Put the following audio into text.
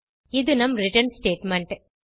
இது நம் return statement